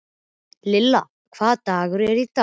Lillian, hvaða dagur er í dag?